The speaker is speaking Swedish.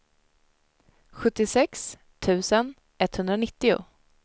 sjuttiosex tusen etthundranittio